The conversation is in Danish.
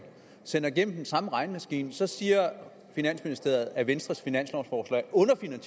sender igennem den samme regnemaskine så siger finansministeriet at venstres finanslovforslag